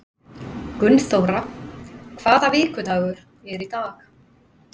Gunnþóra, hvaða vikudagur er í dag?